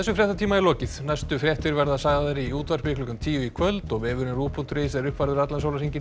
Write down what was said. fréttatíma er lokið næstu fréttir verða sagðar í útvarpi klukkan tíu í kvöld og vefurinn ruv punktur is er uppfærður allan sólarhringinn